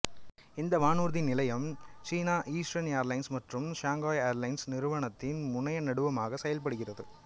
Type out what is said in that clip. இந்த வானூர்தி நிலையம் சீனா ஈஸ்டர்ன் ஏர்லைன்ஸ் மற்றும் சாங்காய் ஏர்லைன்சு நிறுவனங்களின் முனையநடுவமாக செயல்படுகிறது